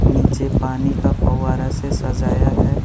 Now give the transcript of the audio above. नीचे पानी का फवारा से सजाया है।